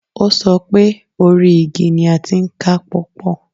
O so pé 'orí igi ni a ti ń ká pọ́pọ̀'